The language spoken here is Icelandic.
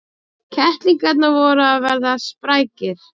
Kettlingarnir voru að verða sprækir.